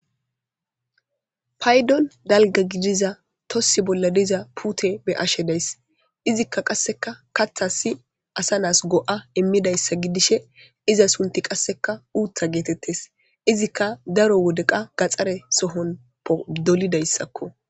Paydon dalga gidiza tossi bolla diza pute be ashe days izikka qasseka katha si asa naas go'a immidayssa gidishe iza sunti qasseka uutha geetettes izikka daro wodeqa gaxxare sohon dolidayssakko.